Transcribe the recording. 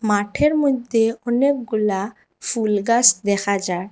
মাঠের মইধ্যে অনেকগুলা ফুল গাস দেখা যায়।